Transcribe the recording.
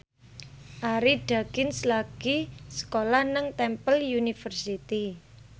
Arie Daginks lagi sekolah nang Temple University